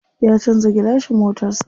Ya canza gilashin motar sa.